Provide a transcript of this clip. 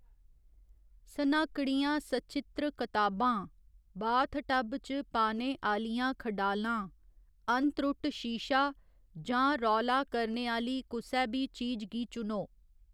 स्नाकड़ियां सचित्र कताबां, बाथटब च पाने आह्‌लियां खडालां, अनत्रुट्ट शीशा, जां रौला करने आह्‌ली कुसै बी चीज गी चुनो।